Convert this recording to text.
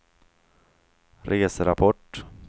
reserapport